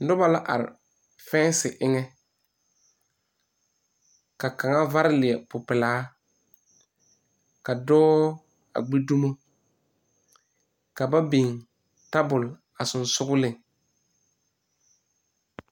Noba la are fɛnse eŋɛ ka kaŋa vare leɛ popelaa ka dɔɔ a gbi dumo ka ba biŋ tabol a sensogleŋ.